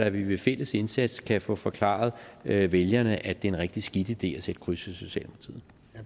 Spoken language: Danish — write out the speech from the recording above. at vi ved fælles indsats kan få forklaret vælgerne at det er en rigtig skidt idé at sætte kryds